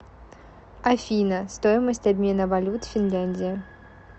афина стоимость обмена валют финляндия